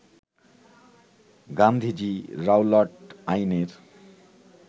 Gandhiji Rowlatt আইনের